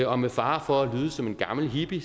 og med fare for at lyde som en gammel hippie